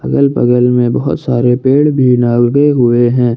अगल बगल में बहुत सारे पेड़ भी लगे हुए हैं।